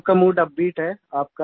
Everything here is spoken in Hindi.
सबका मूड अपबीट है